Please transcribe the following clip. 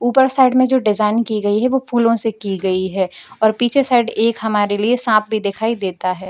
ऊपर साइड में जो डिजाइन की गई है वो फूलों से की गई है और पीछे साइड एक हमारे लिए सांप भी दिखाई देता है।